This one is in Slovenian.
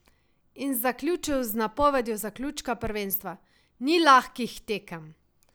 In zaključil z napovedjo zaključka prvenstva: "Ni lahkih tekem.